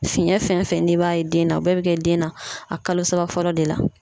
Fiɲɛ fɛn fɛn, n'i b'a ye den na bɛɛ be kɛ den na a kalo saba fɔlɔ de la.